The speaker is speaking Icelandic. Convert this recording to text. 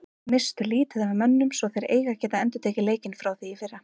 Misstu lítið af mönnum svo þeir eiga að geta endurtekið leikinn frá í fyrra.